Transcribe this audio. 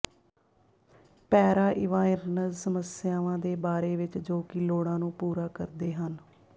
ਪੈਰਾ ਇੰਵਾਇਰਨਜ਼ ਸਮੱਸਿਆਵਾਂ ਦੇ ਬਾਰੇ ਵਿੱਚ ਜੋ ਕਿ ਲੋੜਾਂ ਨੂੰ ਪੂਰਾ ਕਰਦੇ ਹਨ